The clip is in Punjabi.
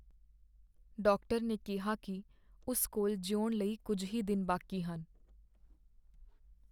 ਡਾਕਟਰ ਨੇ ਕਿਹਾ ਕੀ ਉਸ ਕੋਲ ਜਿਉਣ ਲਈ ਕੁੱਝ ਹੀ ਦਿਨ ਬਾਕੀ ਹਨ।